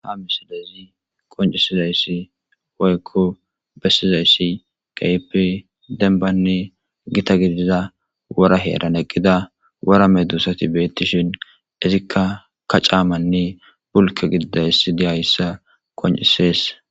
Ha misidezi qoncisizayssi woykko bessizayssi qaepe denbanne gita gidiiza wora heeran eqqida warame duusati beettishin izikka ka caamanne bulka gididayssi dihayssa qoncisees.